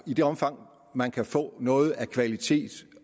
i det omfang man kan få noget af kvalitet